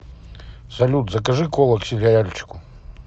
салют закажи кола к сериальчику